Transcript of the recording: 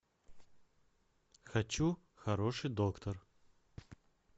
хочу хороший доктор